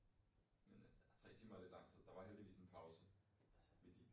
Men det der tre timer er lidt lang tid der var heldigvis en pause midt i